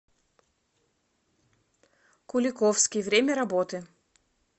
куликовский время работы